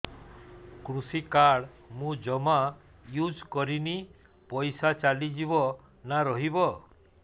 କୃଷି କାର୍ଡ ମୁଁ ଜମା ୟୁଜ଼ କରିନି ପଇସା ଚାଲିଯିବ ନା ରହିବ